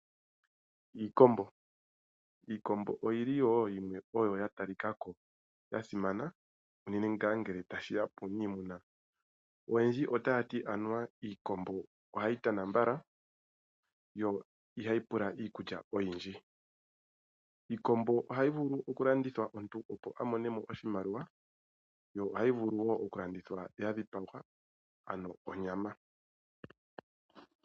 Iikombo Iikombo oyi li wo yimwe ya talika ko ya simana, unene ngele tashi ya puuniimuna. Oyendji otaya ti anuwa iikombo ohayi tana mbala yo ihayi pula iikulya oyindji. Iikombo ohayi vulu okulandithwa po omuntu opo a mone mo oshimaliwa. Ohayi vulu wo okulandithwa ya dhipagwa, ano onyama.